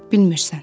Bilmirsən.